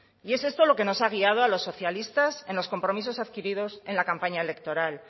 y es esto lo que nos ha guiado a los socialistas en los compromisos adquiridos en la campaña electoral